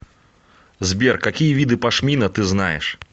сбер какие виды пашмина ты знаешь